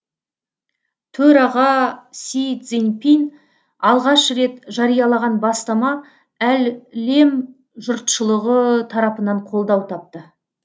төраға си цзиньпин алғаш рет жариялаған бастама әлем жұртшылығы тарапынан қолдау тапты